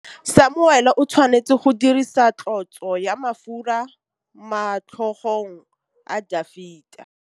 Samuele o tshwanetse go dirisa tlotsô ya mafura motlhôgong ya Dafita.